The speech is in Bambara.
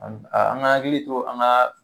Ani a an g'an akili to an gaa